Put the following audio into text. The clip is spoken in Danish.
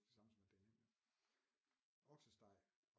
Ikke det samme som at det er nemt oksesteg